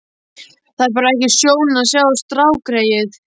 Það er bara ekki sjón að sjá strákgreyið.